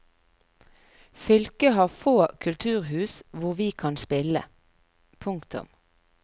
Fylket har få kulturhus hvor vi kan spille. punktum